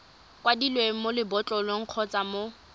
kwadilweng mo lebotlolong kgotsa mo